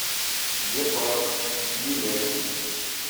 гепард билет